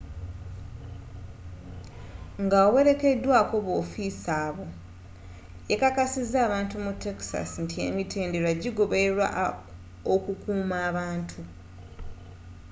ng'awerekeddwako b'ofiisa abo yakakasiza abantu mu texas nti emitendera gigobererwa okukuuma abantu